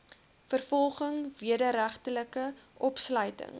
vervolging wederregtelike opsluiting